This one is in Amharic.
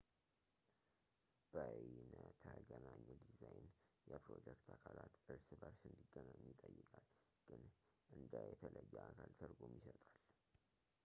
በይነተገናኝ ዲዛይን የፕሮጀክት አካላት እርስ በእርስ እንዲገናኙ ይጠይቃል ፣ ግን እንደ የተለየ አካል ትርጉም ይሰጣል